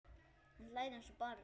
Hann hlær eins og barn.